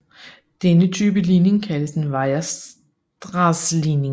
Denne type ligning kaldes en Weierstrass ligning